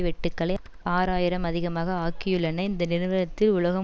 வெட்டுக்களை ஆறு ஆயிரம் அதிகமாக ஆக்கியுள்ளன இந்த நிறுவனத்தி உலகம்